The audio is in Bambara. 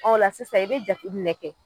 Ɔ o la sisan i be jate minɛ kɛ